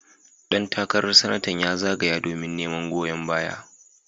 Dan takarar Sanatan ya zagaya domin neman goyon baya.